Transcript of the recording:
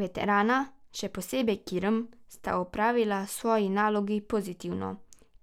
Veterana, še posebej Kirm, sta opravila svoji nalogi pozitivno,